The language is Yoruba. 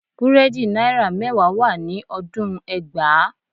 Búrẹ́dì náírà mẹ́wàá wà ní ọdún ẹgbàá